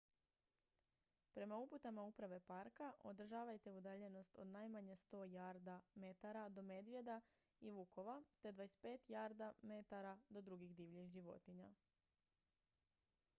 prema uputama uprave parka održavajte udaljenost od najmanje 100 jarda/metara do medvjeda i vukova te 25 jarda/metara do drugih divljih životinja!